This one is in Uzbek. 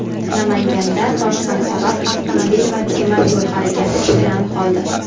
Namanganda toshqin sabab avtomobil va temir yo‘l harakati cheklanib qoldi.